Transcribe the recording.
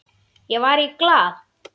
Ég var í Glað.